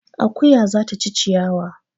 Akuya za ta ci ciyawa